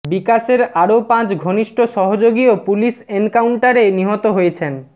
বিকাশের আরও পাঁচ ঘনিষ্ঠ সহযোগীও পুলিশ এনকাউন্টারে নিহত হয়েছেন